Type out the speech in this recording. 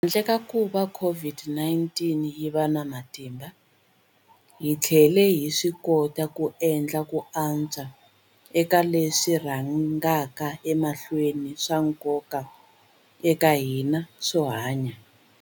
Handle ka kuva COVID-19 yi va na matimba, hi tlhele hi swikota ku endla ku antswa eka leswi swi rhangaka emahlweni swa nkoka eka hina swo hanya.